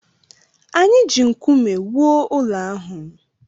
Anyị ji nkume wuo ụlọ ahụ